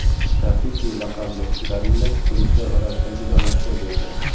Rafiki laqabli gorilla turistlar orasida juda mashhur bo‘lgan.